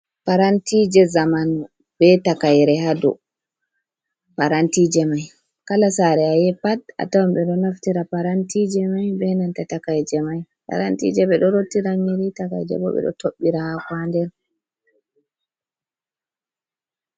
Parantije je zamanu be takaire hado, parantije mai kala sare ayahi pat a tawan ɓe do naftira parantije mai ɓe nanta takaije mai, parantije ɓeɗo rottira nyiri, takaije bo ɓe do toɓɓira hako ha nɗer.